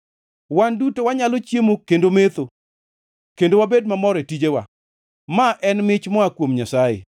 Wan duto wanyalo chiemo kendo metho, kendo wabed mamor e tijewa. Ma en mich moa kuom Nyasaye.